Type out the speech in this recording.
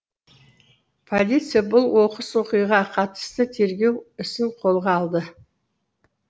полиция бұл оқыс оқиға қатысты тергеу ісін қолға алды